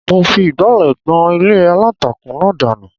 Mo fi ìgbálẹ̀ gbọn ilé aláǹtakùn náà dànù